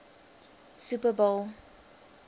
super bowl